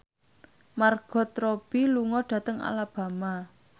Margot Robbie lunga dhateng Alabama